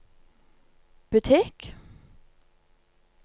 butikk